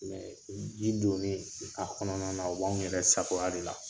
ji donni a kɔnɔna na o b'anw yɛrɛ sagoya de la.